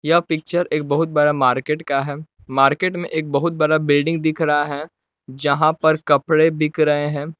यह पिक्चर एक बहुत बड़ा मार्केट है मार्केट में एक बहुत बड़ा बिल्डिंग दिख रहा है जहाँ पर कपड़े बिक रहे हैं।